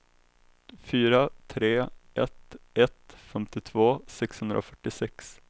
fyra tre ett ett femtiotvå sexhundrafyrtiosex